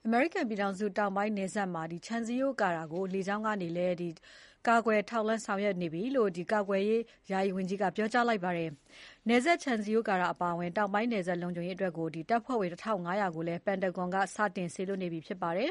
အမေရိကန်ပြည်ထောင်စုတောင်ပိုင်းမှာ ခြံစည်းရိုးကာတာကို လေကြောင်းကနေလည်း လုံခြုံရေးယူဆောင်ရွက်နေပြီလို့ ကာကွယ်ရေး ယာယီဝန်ကြီးက ပြောကြားလိုက်ပါတယ်။ နယ်စပ်ခြံစည်းရိုးကာတာအပါအဝင် တောင်ပိုင်းနယ်စပ်လုံခြုံရေးအတွက် တပ်ဖွဲ့ဝင် ၁၅၀၀ ကိုလည်း ပန်တာဂွန်စစ်ဌာနချုပ်က စတင်စေလွှတ်နေပြီဖြစ်ပါတယ်